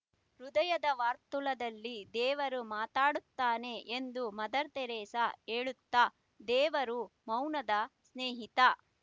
ಹೃದಯದ ವರ್ತುಲದಲ್ಲಿ ದೇವರು ಮಾತನಾಡುತ್ತಾನೆಎಂದು ಮದರ್ ತೆರಿಸಾ ಹೇಳುತ್ತಾ ದೇವರು ಮೌನದ ಸ್ನೇಹಿತ